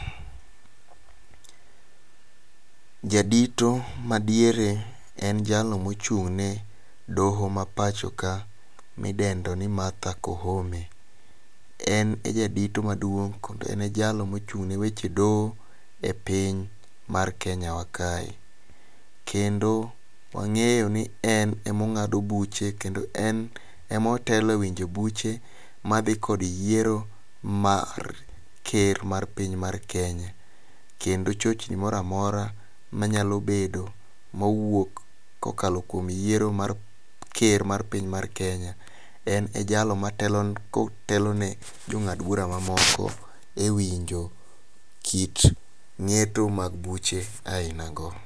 Jadito madiere en jalno mochung' ne doho ma pacho ka midendo ni Martha Koome. En e jadito madiong' kodo en a jalno mochung' ne weche doho e piny mar Kenya wa kae. Kendo wang'eyo ni en emong'ado buche kendo en ema otelo e winjo buche madhi kod yiero mar ker mar pinya mar Kenya. Kendo chochni moro amora manyalo bedo mowuok kokalo kuom yiero mar ker mar pinya mar Kenya en e jalno kotelo ne jong'ad bura mamoko e winjo kit ng'eto mag buche aina go.